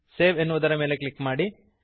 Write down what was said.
save ಎನ್ನುವುದರ ಮೇಲೆ click ಮಾಡಿರಿ